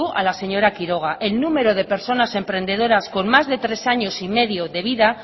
a la señora quiroga el número de personas emprendedoras con más de tres años y medio de vida